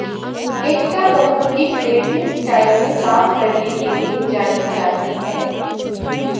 एकता कपूर भी creative style में काम करने के लिए जानी जाती हैं